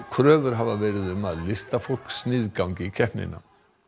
kröfur hafa verið um að listafólk sniðgangi keppnina